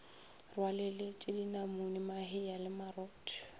rwaleletše dinamune mahea le marotho